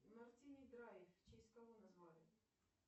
мартини драйв в честь кого назвали